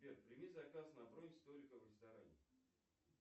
сбер прими заказ на бронь столика в ресторане